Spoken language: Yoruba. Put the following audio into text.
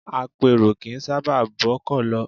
Apèrò kì í sábà bọ́kọ̀ lọ.